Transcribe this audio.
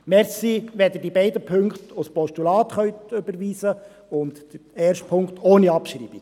Danke, wenn Sie die beiden Punkte als Postulat überweisen können, den ersten Punkt ohne Abschreibung.